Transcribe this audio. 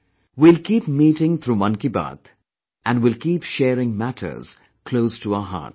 We will keep meeting through Mann Ki Baat, and will keep sharing matters close to our hearts